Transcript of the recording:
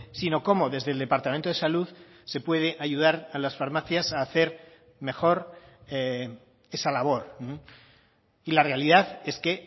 sino cómo desde el departamento de salud se puede ayudar a las farmacias a hacer mejor esa labor y la realidad es que